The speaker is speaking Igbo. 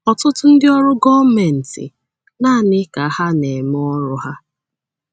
Ọtụtụ ndị ọrụ gọọmenti nanị ka ha na - eme ọrụ ha.